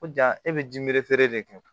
Ko ja e bɛ ji feere de kɛ